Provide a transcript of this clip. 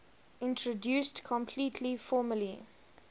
introduced completely formally